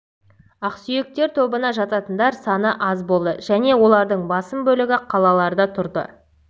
ақсүйектер тобына жататындар саны аз болды және олардың басым бөлігі қалаларда тұрды